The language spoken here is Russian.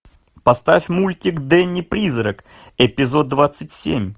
поставь мультик дэнни призрак эпизод двадцать семь